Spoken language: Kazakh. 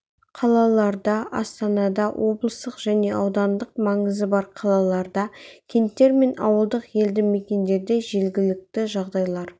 қалаларда астанада облыстық және аудандық маңызы бар қалаларда кенттер мен ауылдық елді мекендерде жергілікті жағдайлар